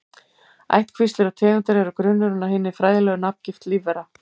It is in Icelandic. Ættkvíslir og tegundir eru grunnurinn að hinni fræðilegu nafngift lífvera.